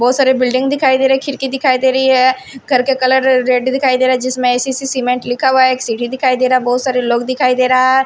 बहुत सारे बिल्डिंग दिखाई दे रहे हैं खिड़की दिखाई दे रही है घर के कलर रेड दिखाई दे रहा है जिसमें ऐ-सी-सी सीमेंट लिखा हुआ है एक सीडी दिखाई दे रहा है बहुत सारे लोग दिखाई दे रहा है।